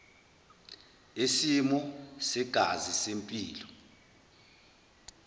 yesimo segazi sempilo